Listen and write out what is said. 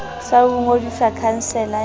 sa ho ngodisa khansele ya